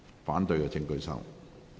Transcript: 反對的請舉手。